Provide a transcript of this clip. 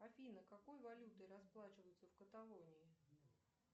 афина какой валютой расплачиваются в каталонии